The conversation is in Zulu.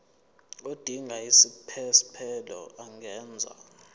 odinga isiphesphelo angenza